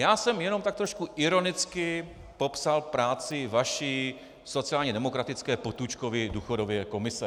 Já jsem jenom tak trošku ironicky popsal práci vaší sociálně demokratické Potůčkovy důchodové komise.